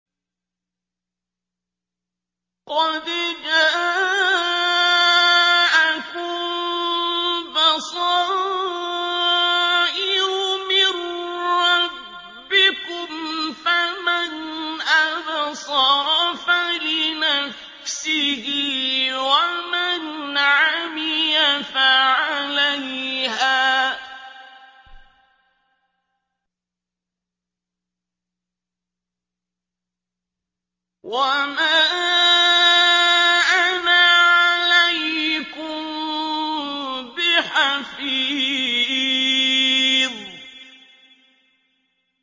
قَدْ جَاءَكُم بَصَائِرُ مِن رَّبِّكُمْ ۖ فَمَنْ أَبْصَرَ فَلِنَفْسِهِ ۖ وَمَنْ عَمِيَ فَعَلَيْهَا ۚ وَمَا أَنَا عَلَيْكُم بِحَفِيظٍ